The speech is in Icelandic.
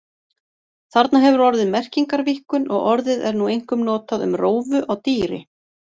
Þarna hefur orðið merkingarvíkkun og orðið er nú einkum notað um rófu á dýri.